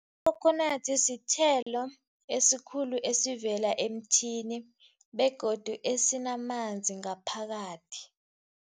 Ikhokhonadi sithelo esikhulu esivela emthini begodu esinamanzi ngaphakathi.